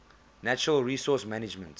natural resource management